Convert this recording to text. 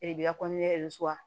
E de b'i ka